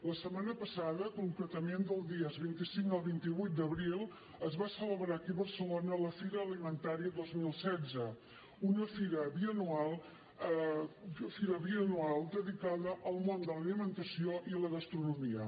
la setmana passada concretament del dia vint cinc al vint vuit d’abril es va celebrar aquí a barcelona la fira alimentaria dos mil setze una fira bianual dedicada al món de l’alimentació i a la gastronomia